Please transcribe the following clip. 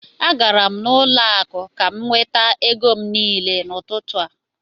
Agara m n'ụlọ akụ ka m nweta ego m niile n'ụtụtụ a